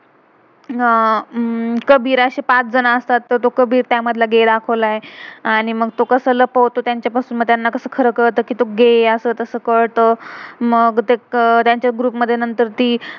आह कबीर अशे पाच जन असतात. तर तो कबीर त्या मधला गे gay दाखवलाय. आणि मग तो कसं लपवतो तेंच्या पासून, मग त्यांना कसं खरं कळत कि तो ग gay असं तसं कलत. मग ते तेंच्या ग्रुप group मधे ती